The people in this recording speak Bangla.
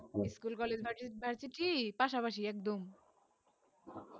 school college varsity পাস পাশি ছিল একদম